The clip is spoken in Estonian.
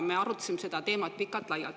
Me arutasime seda teemat pikalt-laialt.